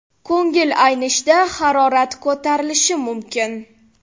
Ko‘ngil aynishda harorat ko‘tarilishi mumkin.